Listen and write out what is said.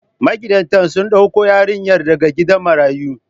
Magidantan sun ɗauko yarinyar daga gidan marayu.